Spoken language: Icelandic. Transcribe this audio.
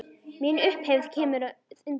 Mín upphefð kemur að utan.